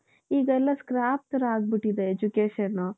ಈಗಲ್ಲಾ scrap ತರ ಆಗ್ಬಿಟ್ಟಿದೆ education.